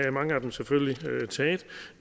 at mange af dem selvfølgelig er taget